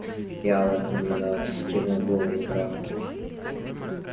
я в этом не виноват вскинул голову драко